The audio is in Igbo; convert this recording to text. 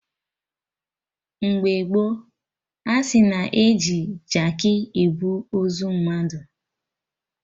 Mgbe gboo, asị na-eji Jaakị ebu ozu mmadụ